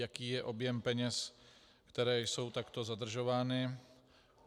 Jaký je objem peněz, které jsou takto zadržovány?